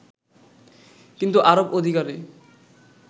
কিন্তু আরব অধিকারে